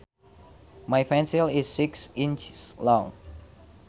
My pencil is six inches long